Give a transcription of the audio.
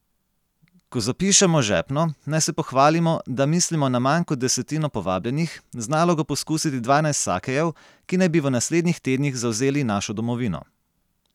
Ko zapišemo žepno, naj se pohvalimo, da mislimo na manj kot desetino povabljenih, z nalogo poskusiti dvanajst sakejev, ki naj bi v naslednjih tednih zavzeli našo domovino.